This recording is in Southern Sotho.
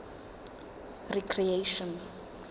recreation